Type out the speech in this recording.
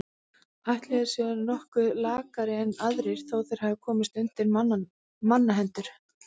Ætli þeir séu nokkuð lakari en aðrir þó þeir hafi komist undir mannahendur.